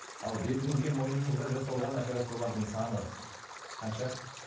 ал бетіңізге мойныңызға жасалған операциялардың саны қанша